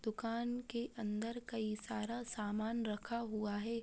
दुकान के अन्दर कई सारा सामान रखा हुआ है।